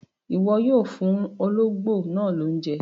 Iwọ yoo fuun ologbo naa lounje!